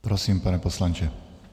Prosím, pane poslanče.